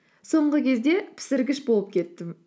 соңғы кезде пісіргіш болып кеттім